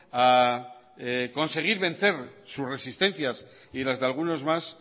a conseguir vencer sus resistencias y las de algunos más